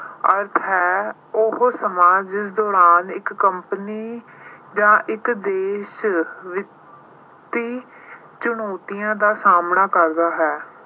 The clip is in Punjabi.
ਅਰਥ ਹੈ ਉਹ ਸਮਾਜ ਜਿਸ ਦੌਰਾਨ ਇੱਕ company ਜਾਂ ਇੱਕ ਦੇਸ਼ ਵਿੱਤੀ ਚੁਣੌਤੀਆਂ ਦਾ ਸਾਹਮਣਾ ਕਰਦਾ ਹੈ।